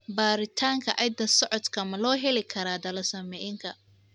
Baaritaanka hidda-socodka ma loo heli karaa thalassaemiaka?